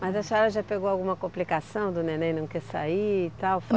Mas a senhora já pegou alguma complicação do neném não quer sair e tal?